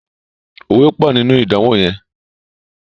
òwe pọ nínú idanwo yén.